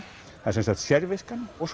það er sem sagt sérviskan og